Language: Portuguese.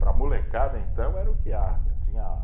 Para a molecada, então, era o que há, que tinha